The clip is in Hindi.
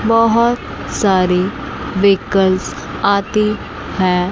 बहोत सारे वीकल्स आते हैं।